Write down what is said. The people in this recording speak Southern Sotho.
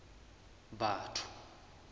batho